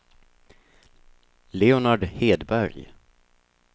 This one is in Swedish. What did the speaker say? Leonard Hedberg